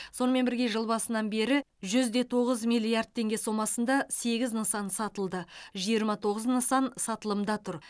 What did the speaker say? сонымен бірге жыл басынан бері жүз де тоғыз миллиард теңге сомасында сегіз нысан сатылды жиырма тоғыз нысан сатылымда тұр